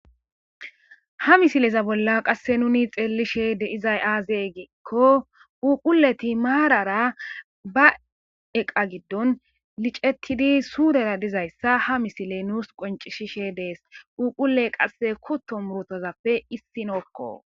Ha misileza bolla qasse nuni xeellishe de izay aazee giikko uquleti maarara ba eqa giddon licettidi suurera dizayssa ha misile nuus qoncishishe dees uuqule qasse kutto murotozappe issi nookko.